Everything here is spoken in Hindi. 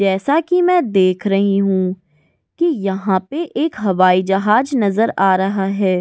जैसा कि मैं देख रही हूं कि यहां पर एक हवाई जहाज नजर आ रहा है।